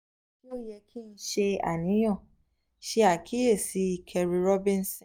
se o ye ki n se aniyan? se akiyesi kerri reubenson